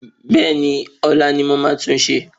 Bẹ́ẹ̀ni ọ́la ni mo ma tunṣe